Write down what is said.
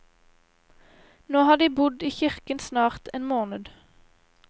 Nå har de bodd i kirken snart en måned.